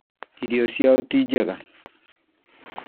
Irio ciao ti njega